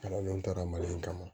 Kalandenw taara mali in kama